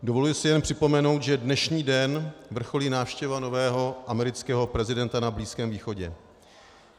Dovoluji si jen připomenout, že dnešní den vrcholí návštěva nového amerického prezidenta na Blízkém východě.